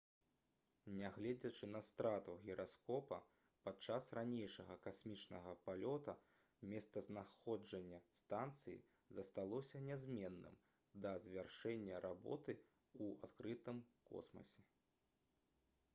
нягледзячы на страту гіраскопа падчас ранейшага касмічнага палёту месцазнаходжанне станцыі засталося нязменным да завяршэння работы ў адкрытым космасе